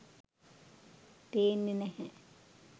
පේන්නෙ නැහැ.